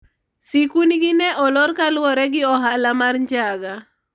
sikund gi ne olor kaluwore gi ohala mar njaga